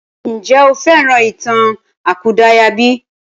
Ǹjẹ́ o fẹ́ràn ìtàn àkúdàáyà bí?